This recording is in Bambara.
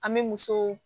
An bɛ musow